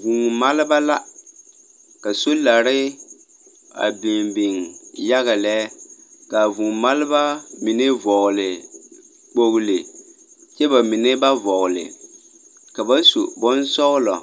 Vũũ-maleba la, ka solare a biŋ biŋ yaga lɛ, kaa vũũ-maleba mine vɔgle kpogli, kyɛ ba mine ba vɔgle, ka ba su bonsɔglɔ,